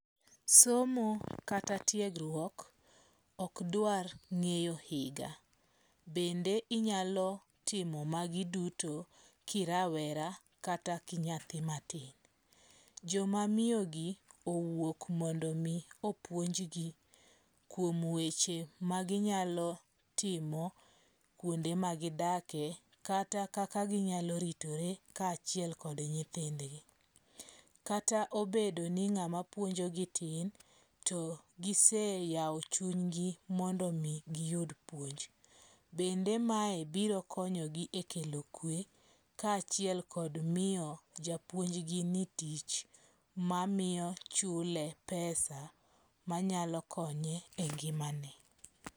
Somo kata tiegruok ok dwar ng'eyo higa. Bende inyalo timo magi duto kirawera kata ki nyathi matin. Joma miyo gi owuok mondo mi opuonjgi kuom weche ma ginyalo timo kuonde ma gidakie kata kaka ginyalo ritore kachiel kod nyithndgi. Kata obedo ni ng'ama puonjo gi tin, to gise yawo chunygi mondo mi giyud puonj. Bende mae biro konyogi e kelo kwe ka achiel kod miyo japuonj gi ni tich ma miyo chule pesa manyalo konye e ngimane.